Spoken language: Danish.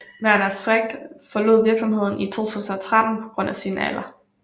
Werner Schwenk forlod virksomheden i 2013 på grund af alder